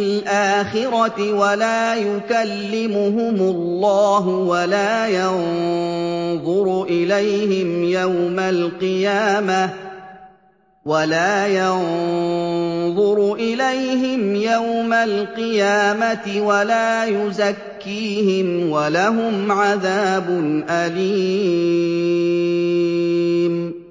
الْآخِرَةِ وَلَا يُكَلِّمُهُمُ اللَّهُ وَلَا يَنظُرُ إِلَيْهِمْ يَوْمَ الْقِيَامَةِ وَلَا يُزَكِّيهِمْ وَلَهُمْ عَذَابٌ أَلِيمٌ